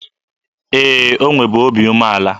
Ee, o nwebu obi umeala.